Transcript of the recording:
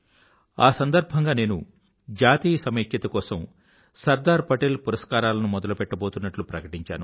ఆ సందర్భంగా నేను జాతీయ సమైక్యత కోసం సర్దార్ పటేల్ పురస్కారాలను మొదలుపెట్టబోతున్నట్లు ప్రకటించాను